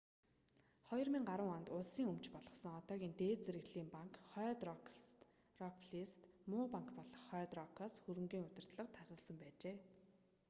2010 онд улсын өмч болгосон одоогийн дээд зэрэглэлийн банк хойд рок плс-г ‘муу банк’ болох хойд рокоос хөрөнгийн удирдлага тасалсан байжээ